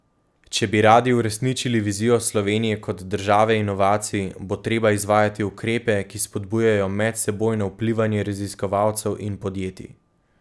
Če bi radi uresničili vizijo Slovenije kot države inovacij, bo treba izvajati ukrepe, ki spodbujajo medsebojno vplivanje raziskovalcev in podjetij.